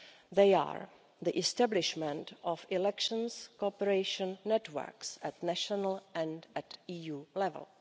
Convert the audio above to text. They are the establishment of elections cooperation networks at national and at EU level